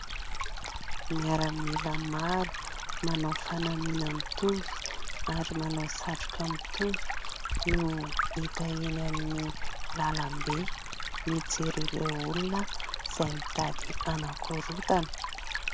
Miaramila maro manao fanamiana mitovy ary manao satroka mitovy no hita eny amin'ny lalam-be mijery ireo olona izay mitady hanakorontana.